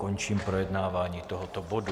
Končím projednávání tohoto bodu.